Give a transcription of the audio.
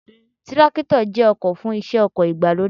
Tírákítọ̀ jẹ́ ọkọ̀ fún iṣẹ́ oko ìgbàlódé